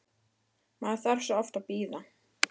Maður þarf svo oft að bíða!